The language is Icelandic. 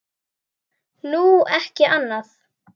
Nú, ekki annað.